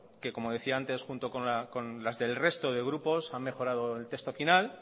que como decía antes que junto con las del resto de grupos han mejorado el texto final